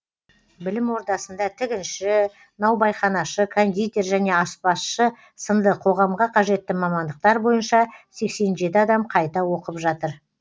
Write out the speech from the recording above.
білім ордасында тігінші наубайханашы кондитер және аспазшы сынды қоғамға қажетті мамандықтар бойынша сексен жеті адам қайта оқып жатыр